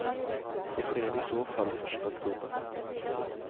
Det sker i så fall första oktober.